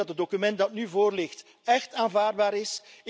Ik denk dat het document dat nu voorligt echt aanvaardbaar is.